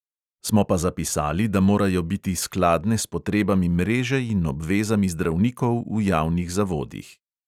Smo pa zapisali, da morajo biti skladne s potrebami mreže in obvezami zdravnikov v javnih zavodih.